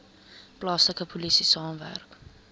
plaaslike polisie saamwerk